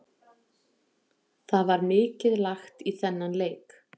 Það var mikið lagt í þennan leik.